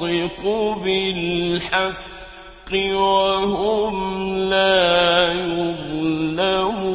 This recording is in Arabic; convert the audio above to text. يَنطِقُ بِالْحَقِّ ۚ وَهُمْ لَا يُظْلَمُونَ